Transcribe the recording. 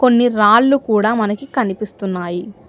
కొన్ని రాళ్లు కూడా మనకి కనిపిస్తున్నాయి.